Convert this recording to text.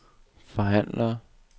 forhandler